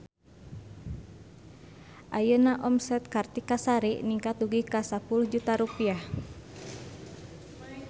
Ayeuna omset Kartika Sari ningkat dugi ka 10 juta rupiah